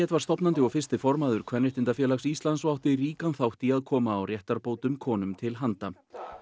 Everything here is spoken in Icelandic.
var stofnandi og fyrsti formaður Kvenréttindafélags Íslands og átti ríkan þátt í að koma á réttarbótum konum til handa